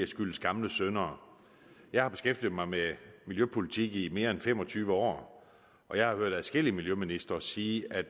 skyldes gamle synder jeg har beskæftiget mig med miljøpolitik i mere end fem og tyve år og jeg har hørt adskillige miljøministre sige at